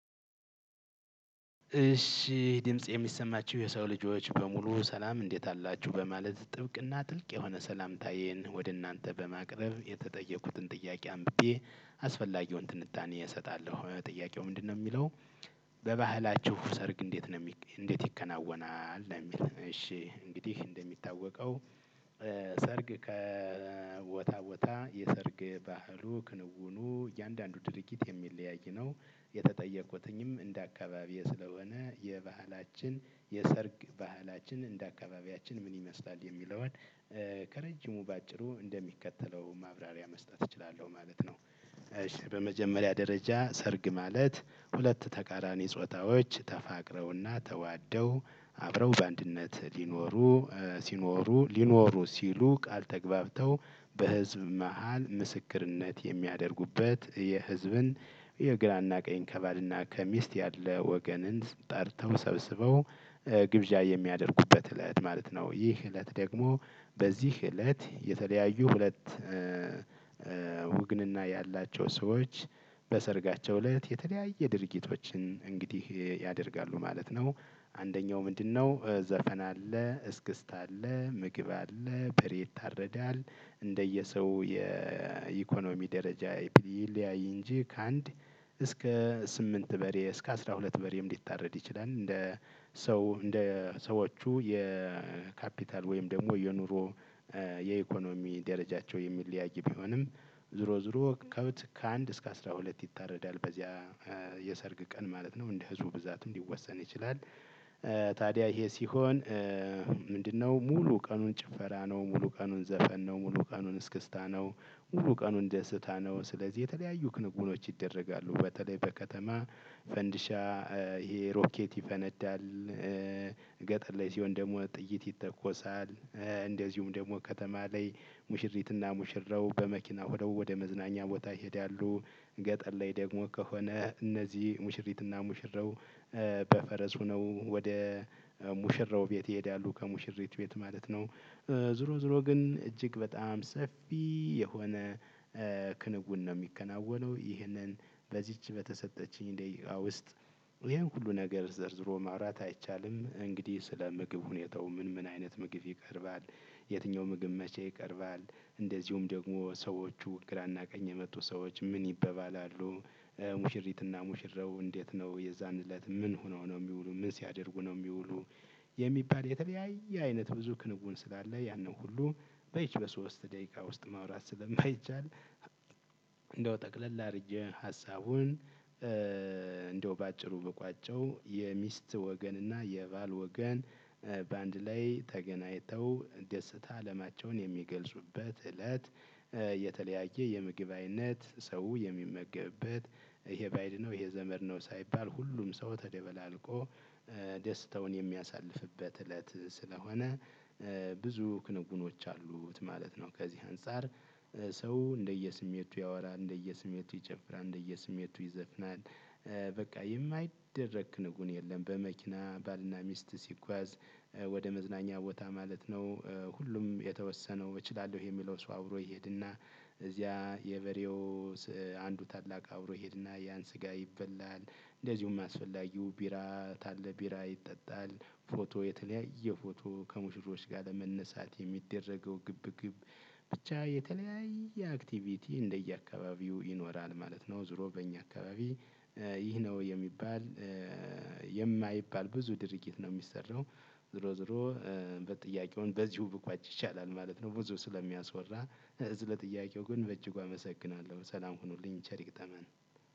እሺ ድምፄ የሚሰማችሁ የሰው ልጆች በሙሉ ሰላም እንዴት አላችሁ በማለት ጥብቅና ጥልቅ የሆነ ሰላምታዬን ወደ እናንተ በማቅረብ የተጠየቁትን ጥያቄ አምብቤ አስፈላጊውን ትንታኔ እሰጣለሁ ጥያቄው ምንድነው የሚለው? በባህላችሁ ሰርግ እንዴት ነው እንዴት ይከናወናል እንደሚል እሺ እንግዲህ እንደሚታወቀው ሰርግ ከቦታ ቦታ የሰርግ ባህሉ ክንውኑ እያንዳንዱ ድርጊት የሚለያይ ነው። የተጠየቅኩትም እንደ አካባቢዬ ስለሆነ የባህላችን የሰርግ ባህላችን እንደ አካባቢያችን ምን ይመስላል የሚለውን? ከረጀሙ በአጭሩ እንደሚከተለው ማብራሪያ መስጠት እችላለሁ ማለት ነው። በመጀመሪያ ደረጃ ሰርግ ማለት ሁለት ተቃራኒ ጾታዎች ተፋቅረውና ተዋደው አብረው በአንድነት ሊኖሩ። ሲኖሩ ሊኖሩ ሲሉ ቃል ተግባብተው። በህዝብ መሃል ምስክርነት የሚያደርጉበት የህዝብን የግራና ቀኝ ከባል ና ከሚስት ያለ ወገንን ጠርተው ሰብስበው። ግብዣ የሚያደርጉበት እለት ማለት ነው። ይህ እለት ደግሞ በዚህ እለት የተለያዩ ሁለት ውግንና ያላቸው ሰዎች በሰርጋቸው እለት የተለያየ ድርጊቶችን እንግዲህ ያደርጋሉ ማለት ነው። አንደኛው ምንድነው? ዘፈን አለ እስክስታ አለ ምግብ አለ በሬ ይታረዳል። እንደየሰው የኢኮኖሚ ደረጃ ይለያይ እንጂ ከአንድ እስከ ስምንት በሬ እስከ አስራ ሁለት በሬም ሊታረድ ይችላል። እንደ ሰው እንደ ሰዎቹ የካፒታል ወይም ደግሞ የኑሮ የኢኮኖሚ ደረጃቸው የሚለያይ ቢሆንም ዞሮ ዞሮ ከብት ከአንድ እስከ አስራ ሁለት ይታረዳል። የሰርግ ቀን ማለት ነው እንደ ህዝቡ ብዛትም ሊወሰን ይችላል። ታዲያ ይሄ ሲሆን። ምንድነው ሙሉ ቀኑን ጭፈራ ነው ሙሉ ቀኑን ዘፈን ነው ሙሉ ቀኑን እስክስታ ነው። ሙሉ ቀኑን ደስታ ነው። ስለዚህ የተለያዩ ክንዉኖች ይደረጋሉ በተለይ በከተማ ፈንዲሻ ይሄ ሮኬት ይፈነዳል። ገጠር ላይ ሲሆን ደግሞ ጥይት ይተኮሳል። እንደዚሁም ደግሞ ከተማ ላይ ሙሽሪትና ሙሽራው በመኪና ወደ ወደ መዝናኛ ቦታ ይሄዳሉ። ገጠር ላይ ደግሞ ከሆነ እነዚህ ሙሽሪት እና ሙሽራው በፈረስ ሆነው ወደ ሙሽራው ቤት ይሄዳሉ ከሙሽሪት ቤት ማለት ነው። ዞሮ ዞሮ ግን እጅግ በጣም ሰፊ የሆነ ክንውን ነው የሚከናወነው ይህንን በዚች በተሰጠችኝ ደቂቃ ውስጥ ይሄን ሁሉ ነገር ዘርዝሮ ማውራት አይቻልም። እንግዲህ ስለ ምግብ ሁኔታው ምን ምን አይነት ምግብ ይቀርባል? የትኛው ምግብ መቼ ይቀርባል? እንደዚሁም ደግሞ ሰዎቹ ግራና ቀኝ የመጡ ሰዎች ምን ይባባላሉ? ሙሽሪትና ሙሽራው እንዴት ነው የዛን እለት ምን ሆነው ነው የሚውሉት ምን ሲያደርጉ ነው የሚውሉት? የሚባል የተለያየ አይነት ብዙ ክንውን ስላለ ያንን ሁሉ በሶስት ደቂቃ ውስጥ ማውራት ስለማይቻል። እንደው ጠቅለል አድርጌ ሀሳቡን እንደው በአጭሩ ብቋጨው የሚስት ወገን እና የባል ወገን በአንድ ላይ ተገናኝተው ደስታ አለማቸውን የሚገልጹበት እለት። የተለያየ የምግብ አይነት ሰው የሚመገብበት ይሄ ባይድ ነው ይሄ ዘመድ ነው ሳይባል ሁሉም ሰው ተደባላልቆ ደስታውን የሚያሳልፍበት እለት ስለሆነ። ብዙ ክንውኖች አሉት ማለት ነው። ከዚህ አንፃር ሰው እንደየ ስሜቱ ያወራል እንደየ ስሜቱ ይጨፍራል እንደየ ስሜቱ ይዘፍናል። በቃ የማይደረግ ንጉን የለም። በመኪና ባልና ሚስት ሲጓዝ ወደ መዝናኛ ቦታ ማለት ነው። ሁሉም የተወሰነው እችላለሁ የሚለው ሰው አብሮ ይሄድና እዚያ የበሬው አንዱ ታላቅ አብሮ ይሄድና ያን ስጋ ይበላል። እንደዚሁም አስፈላጊው ቢራ ታለ ቢራ ይጠጣል። ፎቶ የተለያየ ፎቶ ከሙሽሮች ጋር ለመነሳት የሚደረገው ግብግብ ብቻ የተለያየ አክቲቪቲ እንደየ አካባቢው ይኖራል ማለት ነው። ዞሮ በእኛ አካባቢ ይህ ነው የሚባል የማይባል ብዙ ድርጊት ነው የሚሰራው። ዞሮ ዞሮ ጥያቄውን በዚው ብቋጭ ይሻላል ማለት ነው። ብዙ ስለሚያስወራ። እዝ ለጥያቄው ግን በእጅጉ አመሰግናለሁ ሰላም ሁኑልኝ ቸሪ ይግጠመን።